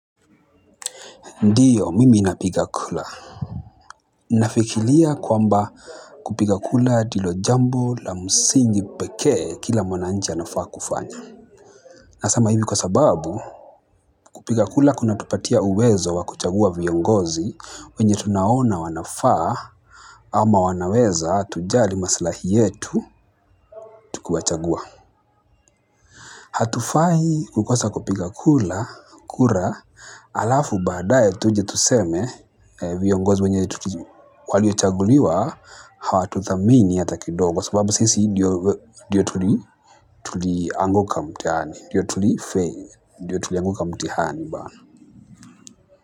Ndiyo mimi ninapiga kura. Nafikiria kwamba kupiga kura ndilo jambu la msingi pekee kila mwananchi anafaa kufanya. Nasema hivi kwa sababu kupiga kura kuna tupatia uwezo wa kuchagua viongozi wenye tunaona wanafaa. Ama wanaweza tujali maslahi yetu tukiwachagua. Hatufai kukosa kupiga kura kura halafu badaye tuje tuseme viongozi wenye waliochaguliwa hawatuthamini hata kidogo kwa sababu sisi ndiyo tuli tulianguka mtihani ndiyo tuliafail ndiyo tulianguka mtihani.